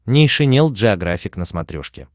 нейшенел джеографик на смотрешке